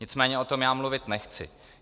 Nicméně o tom já mluvit nechci.